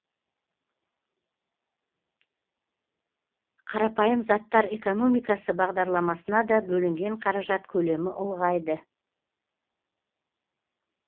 қарапайым заттар экономикасы бағдарламасына да бөлінген қаражат көлемі ұлғайды